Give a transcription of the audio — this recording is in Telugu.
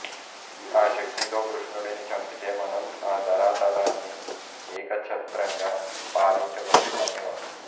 ఆ శక్తితో కృష్ణుడిని చంపితే మనం ఈ ధరాతలాన్ని ఏకచ్ఛత్రంగా పాలించ వచ్చు అనే వాడు